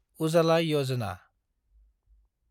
उजाला यजना